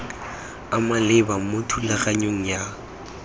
a maleba mo thulaganyong ya